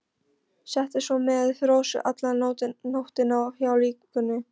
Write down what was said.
Setið svo með Rósu alla nóttina hjá líkinu.